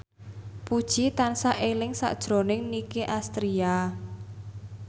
Puji tansah eling sakjroning Nicky Astria